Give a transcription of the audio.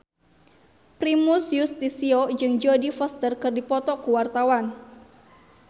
Primus Yustisio jeung Jodie Foster keur dipoto ku wartawan